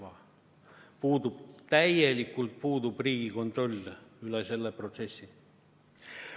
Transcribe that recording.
Riigil puudub täielikult kontroll selle protsessi üle.